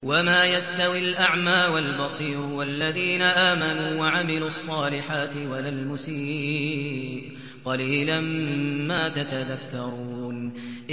وَمَا يَسْتَوِي الْأَعْمَىٰ وَالْبَصِيرُ وَالَّذِينَ آمَنُوا وَعَمِلُوا الصَّالِحَاتِ وَلَا الْمُسِيءُ ۚ قَلِيلًا مَّا تَتَذَكَّرُونَ